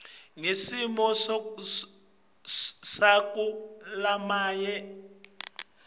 ngesimo sakulamanye mave